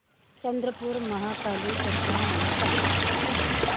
चंद्रपूर महाकाली जत्रा मला सांग